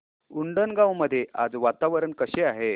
उंडणगांव मध्ये आज वातावरण कसे आहे